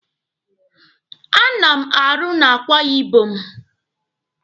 A na m arụ na Akwa Ibom.